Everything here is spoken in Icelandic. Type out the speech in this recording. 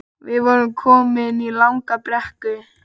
Við vorum komin í langa brekku